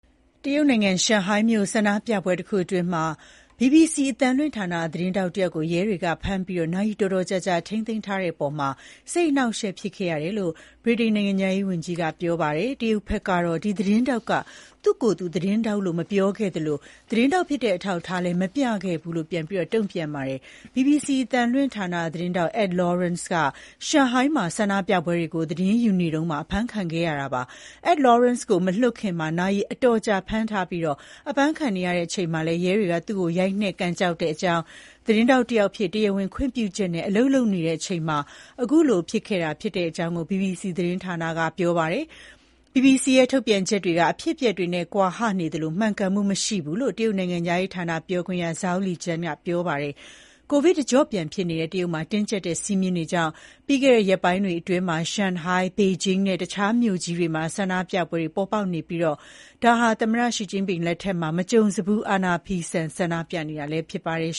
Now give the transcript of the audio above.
တရုတ်နိုင်ငံ ရှန်ဟိုင်းမြို့ ဆန္ဒပြပွဲတခုအတွင်း BBC အသံလွှင့်ဌာန သတင်းထောက်တယောက်ကို ရဲတွေက ဖမ်းဆီးပြီး နာရီတော်တော်ကြာ ထိန်းသိမ်းခဲ့တဲ့အပေါ် စိတ်အနှောင့်အယှက်ဖြစ်မိတယ်လို့ ဗြိတိန်နိုင်ငံခြားရေးဝန်ကြီးက ပြောပါတယ်။ တရုတ်ဘက်ကတော့ ဒီသတင်းထောက်က သူ့ကိုယ်သူ သတင်းထောက် လို့ မပြောခဲ့သလို သတင်းထောက်ဖြစ်တဲ့အထောက်အထားလည်း မပြခဲ့ဘူးလို့ ပြန်ပြီးတုံ့ပြန်ပြောပါတယ်။ BBC အသံလွှင့်ဌာန သတင်းထောက် Ed Lawrence က ရှန်ဟိုင်းမှာ ဆန္ဒပြပွဲတွေကို သတင်းယူရင်း အဖမ်းခံခဲ့ရတာပါ။ Ed Lawrence ကိုမလွှတ်ခင် နာရီအတော်ကြာဖမ်းဆီးထားပြီး အဖမ်းခံနေရချိန်မှာ ရဲတွေက သူ့ကို ရိုက်နှက် ကန်ကျောက်ကြောင်း၊ သတင်းထောက်တယောက်အဖြစ် တရားဝင်ခွင့်ပြုချက်နဲ့ အလုပ်လုပ်နေချိန်မှာ အခု အဖြစ်အပျက် ဖြစ်ပွားခဲ့တာဖြစ်ကြောင်း ဘီဘီစီသတင်းဌာနက ပြောပါတယ်။ BBC ထုတ်ပြန်ချက်တွေက အဖြစ်အပျက်နဲ့ ကွာဟနေသလို မှန်ကန်မှုမရှိဘူးလို့ တရုတ်နိုင်ငံခြားရေးဌာန ပြောခွင့်ရ Zhao Lijian ကပြောပါတယ်။ ကိုဗစ်တကျော့ပြန်ဖြစ်နေတဲ့ တရုတ်မှာ တင်းကြပ်တဲ့စည်းမျဉ်းတွေကြောင့် ပြီးခဲ့တဲ့ရက်ပိုင်းတွေအတွင်း ရှန်ဟိုင်း၊ ဘေဂျင်းနဲ့ တခြားမြို့ကြီးတွေမှာ ဆန္ဒပြပွဲတွေပေါ်ပေါက်နေသလို ဒါဟာ သမ္မတ Xi Jinping လက်ထက် မကြုံစဖူး အာဏာဖီဆန် ဆန္ဒပြနေကြတာလည်း ဖြစ်ပါတယ်